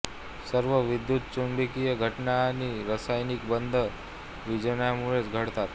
सर्व विद्युतचुंबकीय घटना आणि रासायनिक बंध विजाणूंमुळेच घडतात